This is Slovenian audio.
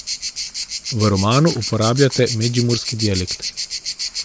V romanu uporabljate medžimurski dialekt.